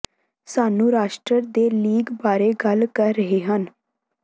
ਸਾਨੂੰ ਰਾਸ਼ਟਰ ਦੇ ਲੀਗ ਬਾਰੇ ਗੱਲ ਕਰ ਰਹੇ ਹਨ